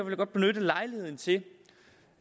vil godt benytte lejligheden til